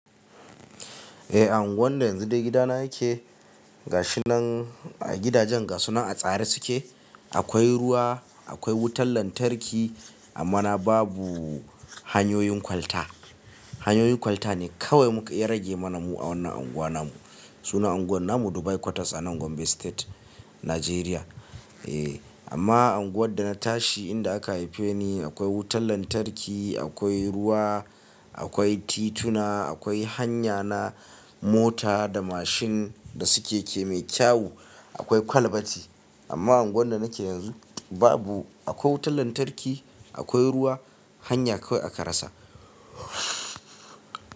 Eh, unguwar da yanzu da gidana yake gashinan gidajen gashuna a tsare suke. Akwai ruwa, akwai wutar lantarki amma na babu hanyoyin kwalta. Hanyoyin kwalta ne kawai muka ya rage mana mu a wannan anguwa namu. Sunan unguwar namu Dubai quarters a nan Gombe State, Najeriya. Eh, amma unguwar da na tashi inda aka haife ni akwai wutar lantarki, akwai ruwa, akwai tituna, akwai hanya na mota da mashin da suke ke mai kyau, akwai kwalbati. Amma unguwar da nake yanzu babu. Akwai wutar lantarki, akwai ruwa, hanya kawai aka rasa.